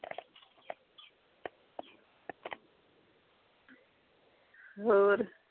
ਹੋਰ